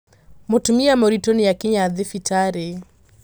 Mũtumia mũritũ nĩakinya thibitarĩ.